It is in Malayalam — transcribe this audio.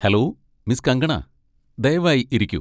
Hello, miss Kangana! ദയവായി ഇരിക്കൂ.